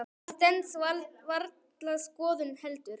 Það stenst varla skoðun heldur.